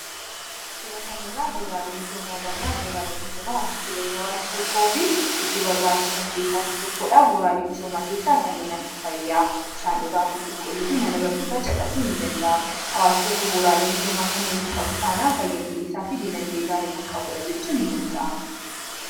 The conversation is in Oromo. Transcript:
sura kanirraa booraale misoomabannaa booraalim misoomaa wansu jireenya hawaasi tokkoo fi hedduu barbaachisan keessaa tokkodhaa booraalimmisoomaa keessaa kanneen akka fayyaa bishaan dhugaattii qulqulluufi mana barnootaa caqasuu i danda'ama hawaasi tokko booraalee misoomaa kanneen hin qabu taanaan fayya buleessaa fi diinagdee gaarii kan qabuudha jechuun hin danda'amu